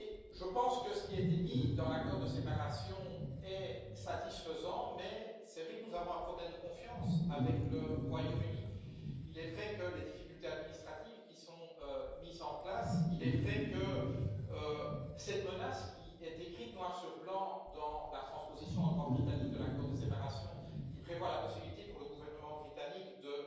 Je pense que ce qui a été mis dans l'accord de séparation est satisfaisant, mais il est vrai que nous avons un problème de confiance avec le Royaume Uni il est vrai que nous nous inquiétons des difficultés administratives qui sont mises en place ou de cette menace qui est écrite noir sur blanc dans la transposition en droit britannique de l'accord de séparation et qui prévoit la possibilité pour le gouvernement britannique de